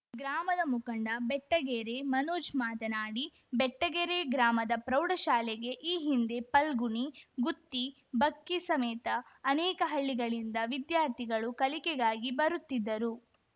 ಗ್ರಾಮದ ಮುಖಂಡ ಬೆಟ್ಟಗೆರೆ ಮನೋಜ್‌ ಮಾತನಾಡಿ ಬೆಟ್ಟಗೆರೆ ಗ್ರಾಮದ ಪ್ರೌಢಶಾಲೆಗೆ ಈ ಹಿಂದೆ ಪಲ್ಗುಣಿ ಗುತ್ತಿ ಬಕ್ಕಿ ಸಮೇತ ಅನೇಕ ಹಳ್ಳಿಗಳಿಂದ ವಿದ್ಯಾರ್ಥಿಗಳು ಕಲಿಕೆಗಾಗಿ ಬರುತ್ತಿದ್ದರು